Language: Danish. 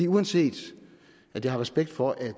uanset at jeg har respekt for at